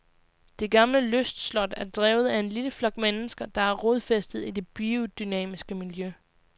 Det gamle lystslot er drevet af en lille flok mennesker, der er rodfæstet i det biodynamiske miljø.